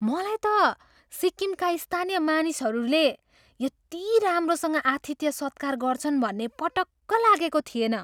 मलाई त सिक्किमका स्थानीय मानिसहरूले यति राम्रोसँग आतिथ्य सत्कार गर्छन् भन्ने पटक्क लागेको थिएन।